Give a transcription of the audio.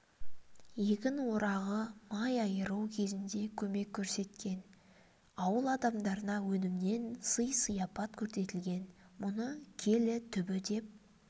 егін орағы май айыру кезінде көмек көрсеткен ауыл адамдарына өнімнен сый-сияпат көрсетілген мұны келі түбі деп